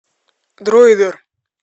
дроидер